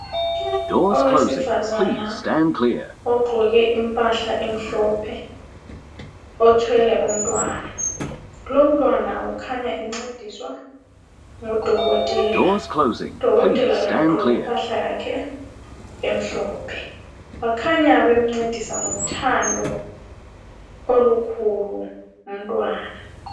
Owesifazana ogqoke impahla emhlophe othwele umtwana. Kulomtwana okhanya encediswa ngudokotela, udokotela laye ugqoke impahla yakhe emhlophe, bakhanya bemncedisa ngothando olukhulu umtwana.